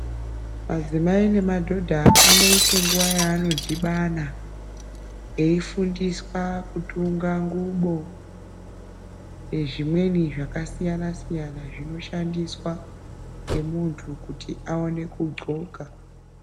Adzimai nemadhodha anoite nguva yaanodhibana eifundiswa kutunga ngubo nezvimweni zvakasiyana siyana zvinoshandiswa ngemuntu kuti aone kundxoka.